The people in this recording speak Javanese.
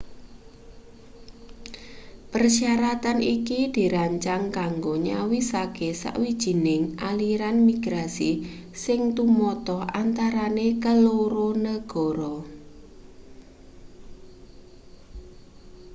persyaratan iki dirancang kanggo nyawisake sawijining aliran migrasi sing tumata antarane keloro negara